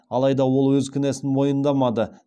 алайда ол өз кінәсін мойындамады